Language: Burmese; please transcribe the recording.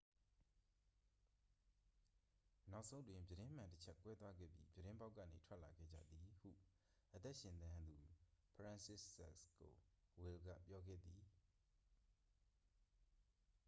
နောက်ဆုံးတွင် ပြတင်းမှန်တစ်ချပ် ကွဲသွားခဲ့ပြီး ပြတင်းပေါက်ကနေ ထွက်လာခဲ့ကြသည် ဟု အသက်ရှင်သန်သူ ဖရန်စစ်ဇခ် ကိုဝယ်လ်က ပြောခဲ့သည်